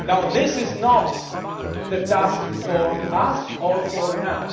debt. This is not the task for us or for